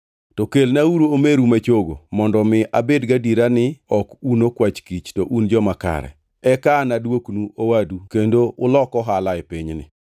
To kelnauru omeru ma chogo mondo mi abed gadiera ni ok un okwach kich to un joma kare. Eka anaduoknu owadu kendo ulok ohala e pinyni.’ ”